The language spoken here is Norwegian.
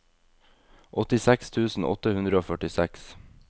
åttiseks tusen åtte hundre og førtiseks